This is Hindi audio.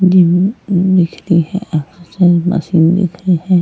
जिम दिख रही है मशीन दिख रही है।